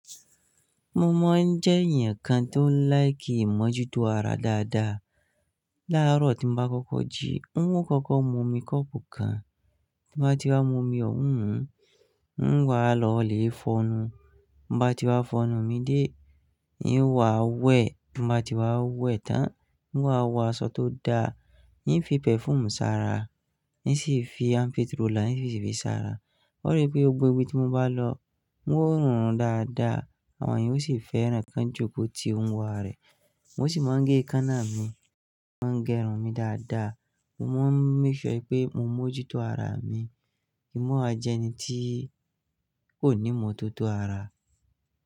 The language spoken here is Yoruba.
Mo mọ̀ ọ́n jẹ́ èeyan kan tó ń like ìmọ́jútó ara dáadáa. Láàárọ̀ tí mo bá kọ́kọ́ jí, n ó kọ́kọ́ mu omi kọ́ọ̀pù kan. Bí mo bá ti bá mu omi ọ̀wọ́n wùn, n wá lọ lé fọnu. Bí mo bá ti wá fọnú mi dé, n wá wẹ̀. Bí mo bá ti wá wẹ̀ tán, n wá wọ aṣọ tó da. N fi perfume ṣára, n sì fi ampiturola, n sì fíi ṣára. Ó rípé gbogbo ibi tí mo bá lọ wọ́n rùn dada. Àwọn ènìyàn ó sì fẹ́ràn ǹkan jókòó tí n wa rẹ̀. Mo sì máa ń gé ekaáná mi, máa ń gẹrun mi dáadáa. Mo máa ń make sure pé mo mójútó ara mi. Kì í mọ̀ wa jẹ́ ẹni tí kò ní mọ́tótó ara.